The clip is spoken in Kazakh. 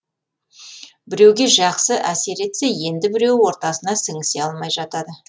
біреуге жақсы әсер етсе енді біреуі ортасына сіңісе алмай жатады